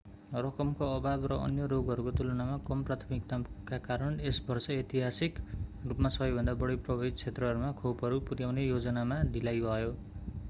रकमको अभाव र अन्य रोगहरूको तुलनामा कम प्राथमिकताका कारण यस वर्ष ऐतिहासिक रूपमा सबैभन्दा बढी प्रभावित क्षेत्रहरूमा खोपहरू पुर्‍याउने योजनामा ढिलाइ भयो।